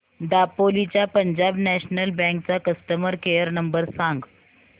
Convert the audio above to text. दापोली च्या Punjab National Bank चा customer care number सांग